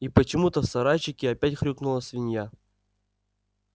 и почему-то в сарайчике опять хрюкнула свинья